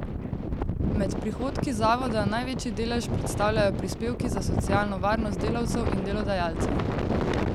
Med prihodki zavoda največji delež predstavljajo prispevki za socialno varnost delavcev in delodajalcev.